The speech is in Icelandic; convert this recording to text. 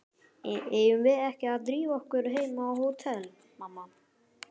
Eigum við ekki að drífa okkur heim á hótel, mamma?